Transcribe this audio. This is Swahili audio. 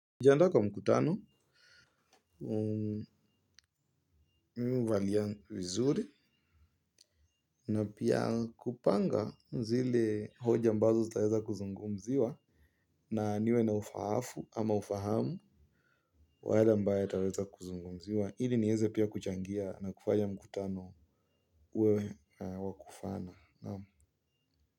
Jiandaa kwa mkutano, mimi huvalia vizuri na pia kupanga zile hoja ambazo taweza kuzungumziwa na niwe na ufahafu ama ufahamu wa yale ambayo taweza kuzungumziwa, ili niweze pia kuchangia na kufanya mkutano uwe wa kufana.